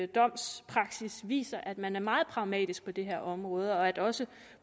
domspraksis viser at man er meget pragmatisk på det her område og at også